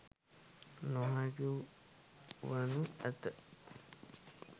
නොහැකි වනු ඇත.